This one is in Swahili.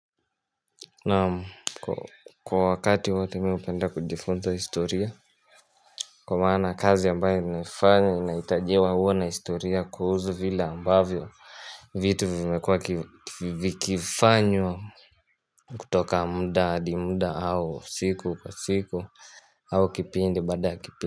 Na kwa wakati wote mihupenda kujifunnza historia kwa maana kazi ambayo ninafanya unaitajewa huwa na historia kuhusu vile ambavyo vitu vimekua vikifanywa kutoka muda adi muda au siku kwa siku au kipindi baada kipindi.